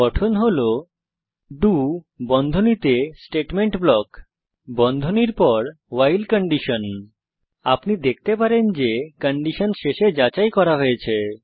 গঠন হল ডো বন্ধনীতে স্টেটমেন্ট ব্লক বন্ধনীর পর ভাইল আপনি দেখতে পারেন যে কন্ডিশন শেষে যাচাই করা হয়েছে